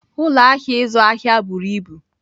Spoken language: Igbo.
Ụlọ ahịa ịzụ ahịa buru ibu.